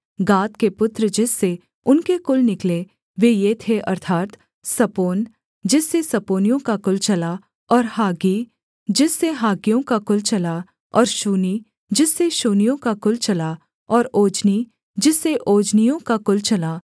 गाद के पुत्र जिससे उनके कुल निकले वे ये थे अर्थात् सपोन जिससे सपोनियों का कुल चला और हाग्गी जिससे हाग्गियों का कुल चला और शूनी जिससे शूनियों का कुल चला और ओजनी जिससे ओजनियों का कुल चला